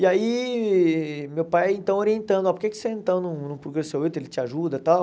E aí, meu pai, então, orientando, oh, por que que você, então, não não procura seu Hilton, ele te ajuda e tal?